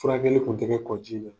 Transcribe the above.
Furakɛli tun tɛ kƐ kɔji la